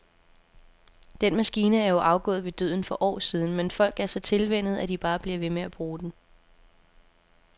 Den maskine er jo afgået ved døden for år siden, men folk er så tilvænnet, at de bare bliver ved med at bruge den.